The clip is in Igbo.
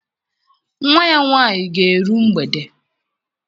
Nwa ya nwaanyị ga-eru mgbede.